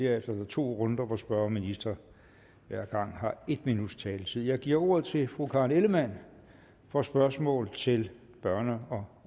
er der to runder hvor spørger og minister hver gang har en minuts taletid jeg giver ordet til fru karen ellemann for spørgsmål til børne og